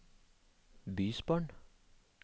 bysbarn